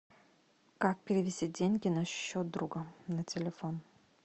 как перевести деньги на счет друга на телефон